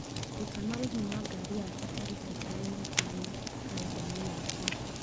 Ruta marĩhi ma ngari yakwa tariki ya ikũmi na ĩtano karenda-inĩ yakwa